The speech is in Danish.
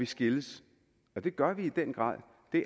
skilles og det gør de i den grad